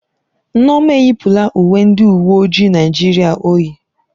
Nneoma eyipụla uwe ndị uwe ojii Naịjirịa o yi.